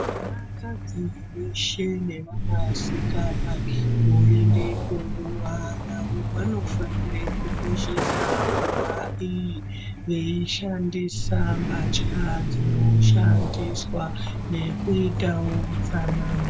Vanakadzi veshe nevanasikana voende kunguwa yavo, vanofanira kukoshesa nguwa iyi veishandira mbatya dzinoshandiswa nekuitawo utsanana.